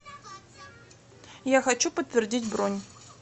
я хочу подтвердить бронь